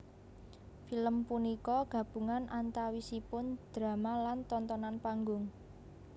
Film punika gabungan antawisipun drama lan tontonan panggung